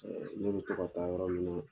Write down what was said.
Ɛɛ n'u bi tɔ ka taa yɔrɔ min na